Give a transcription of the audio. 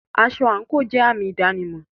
Aṣọ àńkò jẹ àmì ìdánimọ̀.